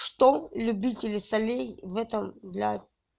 что любители солей в этом для